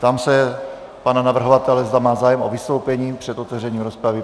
Ptám se pana navrhovatele, zda má zájem o vystoupení před otevřením rozpravy.